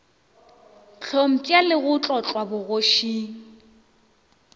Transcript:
hlompša le go tlotlwa bogošing